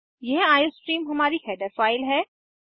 यह आईओस्ट्रीम हमारी header file है